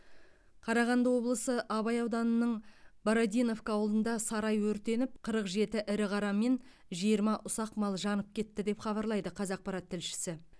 қарағанды облысы абай ауданының бородиновка ауылында сарай өртеніп қырық жеті ірі қара мен жиырма ұсақ мал жанып кетті деп хабарлайды қазақпарат тілшісі